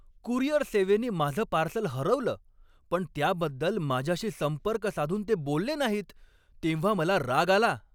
Courier सेवेनी माझं parcel हरवलं पण त्याबद्दल माझ्याशी संपर्क साधून ते बोलले नाहीत तेव्हा मला राग आला.